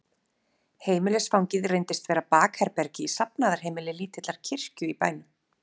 Heimilisfangið reyndist vera bakherbergi í safnaðarheimili lítillar kirkju í bænum.